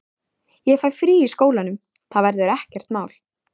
Ég fæ frí í skólanum, það verður ekkert mál.